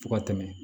Fo ka tɛmɛ